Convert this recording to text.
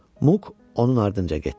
Muq onun ardınca getdi.